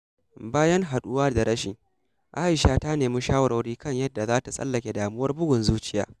Bayan haɗuwa da rashi, A’isha ta nemi shawarwari kan yadda za ta tsallake damuwar bugun zuciya.